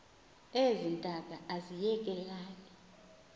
ezi ntaka aziyekelani